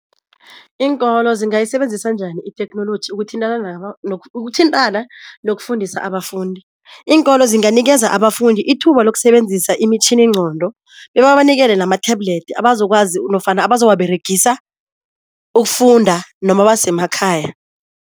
Iinkolo zingayisebenzisa njani itheknoloji ukuthintana ukuthintana nokufundisa abafundi? Iinkolo zinganikeza abafundi ithuba lokusebenzisa imitjhininqondo bebabanikele nama-tablet abazokwazi nofana abazowaberegisa ukufunda noma basemakhaya.